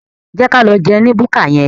Jẹ́ ka lọ jẹun ní búkà yẹn.